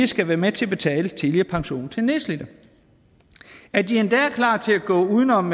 skal være med til at betale tidligere pension til nedslidte og at de endda er klar til at gå uden om